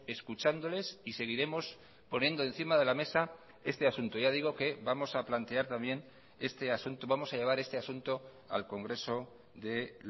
escuchándoles y seguiremos poniendo encima de la mesa este asunto ya digo que vamos a plantear también este asunto vamos a llevar este asunto al congreso de